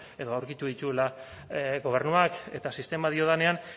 edo aurkitu dituela gobernuak eta sistema diodanean